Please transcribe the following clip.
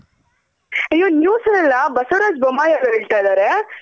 ಅಯ್ಯೋ News ನಲ್ಲಿ ಬಸವರಾಜ್ ಬೋಮ್ಮಾಯ್ ಅವ್ರ್ ಹೇಳ್ತಾ ಇದಾರೆ?